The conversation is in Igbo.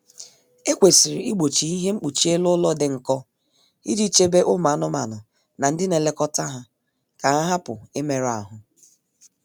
E kwesịrị igbochi ihe mkpuchi elu ụlọ dị nkọ iji chebe ụmụ anụmanụ na ndi nlekọta ha ka ha hupu imerụ ahụ